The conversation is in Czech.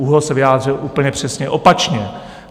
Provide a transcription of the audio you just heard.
ÚOHS se vyjádřil úplně přesně opačně.